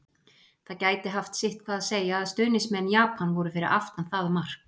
Það gæti haft sitthvað að segja að stuðningsmenn Japan voru fyrir aftan það mark!